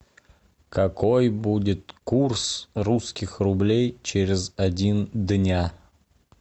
какой будет курс русских рублей через один дня